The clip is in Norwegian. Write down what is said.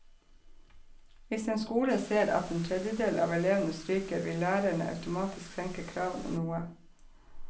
Hvis en skole ser at en tredjedel av elevene stryker, vil lærerne automatisk senke kravene noe.